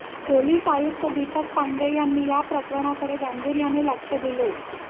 police आयुक्त दीपक पांडे यांनी या प्रकरणांकडे गांर्भीयाने लक्ष दिले